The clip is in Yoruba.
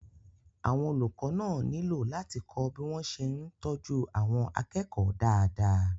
àwọn olùkọ́ náà nílò láti kọ́ bí wọ́n ṣe ń tọ́jú àwọn akẹ́kọ̀ọ́ dáadáa